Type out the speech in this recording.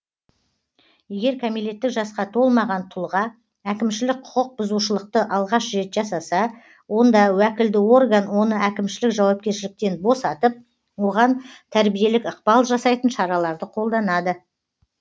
егер кәмелеттік жасқа толмаған тұлға әкімшілік құқық бұзушылықты алғаш рет жасаса онда уәкілді орган оны әкімшілік жауапкершіліктен босатып оған тәрбиелік ықпал жасайтын шараларды қолданады